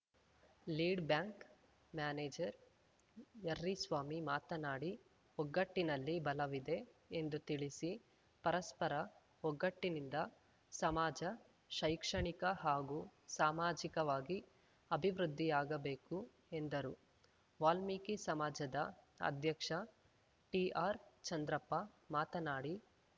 lead bank manager Yerriswamy ಮಾತನಾಡಿ ಒಗ್ಗಟ್ಟಿನಲ್ಲಿ ಬಲವಿದೆ ಎಂದು ತಿಳಿಸಿ ಪರಸ್ಪರ ಒಗ್ಗಟ್ಟಿನಿಂದ ಸಮಾಜ ಶೈಕ್ಷಣಿಕ ಹಾಗೂ ಸಾಮಾಜಿಕವಾಗಿ ಆಭಿವೃದ್ದಿಯಾಗಬೇಕು ಎಂದರು ವಾಲ್ಮೀಕಿ ಸಮಾಜದ ಅಧ್ಯಕ್ಷ ಟಿಆರ್‌ ಚಂದ್ರಪ್ಪ ಮಾತನಾಡಿ